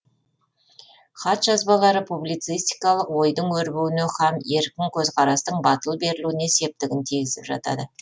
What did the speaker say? хат жазбалары публицистикалық ойдың өрбуіне һәм еркін көзқарастың батыл берілуіне септігін тигізіп жатады